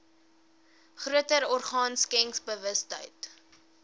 groter orgaan skenkersbewustheid